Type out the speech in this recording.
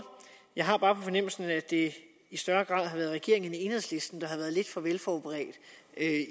jeg har bare på fornemmelsen at det i større grad har været regeringen end enhedslisten der har været lidt for velforberedt